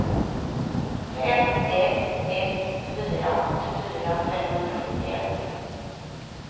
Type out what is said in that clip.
fem ett ett fyra åttiofyra femhundrasjuttioett